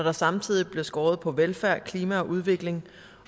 der samtidig bliver skåret på velfærd klima og udvikling